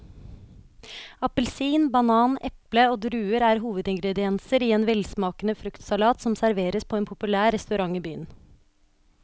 Appelsin, banan, eple og druer er hovedingredienser i en velsmakende fruktsalat som serveres på en populær restaurant i byen.